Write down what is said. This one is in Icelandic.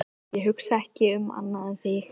Ég hugsa ekki um annað en þig.